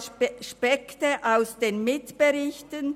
Aspekte aus den Mitberichten